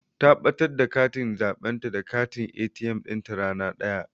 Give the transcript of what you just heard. Ta ɓatar da katin zaɓenta da katin ATM ɗinta rana daya.